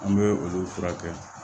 An bɛ olu furakɛ